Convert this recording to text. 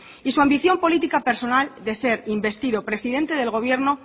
y su ambición política personal de ser investido presidente del gobierno